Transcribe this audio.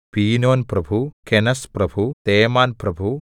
പീനോൻപ്രഭു കെനസ്പ്രഭു തേമാൻപ്രഭു